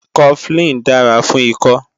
Cofflin dára fún ikọ́